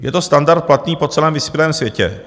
Je to standard platný po celém vyspělém světě.